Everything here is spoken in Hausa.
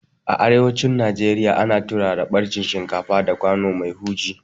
A arewacin Najeriya ana turara ɓarjin shinkafa da kwano mai huji